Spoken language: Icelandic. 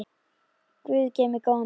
Guð geymi góðan dreng.